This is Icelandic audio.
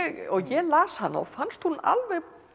ég las hana og fannst hún alveg